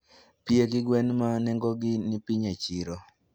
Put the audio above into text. pie gi gwen ma nengogi ni piny e chiro.